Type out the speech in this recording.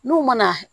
N'u mana